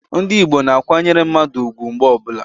Ndi igbo na-akwanyere mmadu ugwu mgbe ọbula.